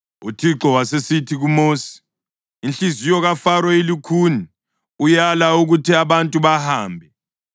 UThixo wasesithi kuMosi, “Inhliziyo kaFaro ilukhuni; uyala ukuthi abantu bahambe.